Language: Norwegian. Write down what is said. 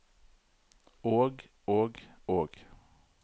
og og og